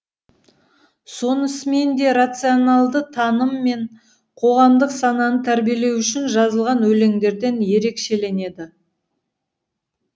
сонысымен де рациональды таным мен қоғамдық сананы тәрбиелеу үшін жазылған өлеңдерден ерекшеленеді